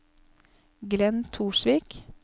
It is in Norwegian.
Glenn Torsvik